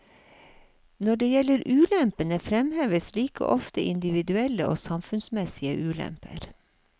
Når det gjelder ulempene, fremheves like ofte individuelle og samfunnsmessige ulemper.